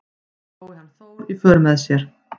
Fái hann Þór í för með sér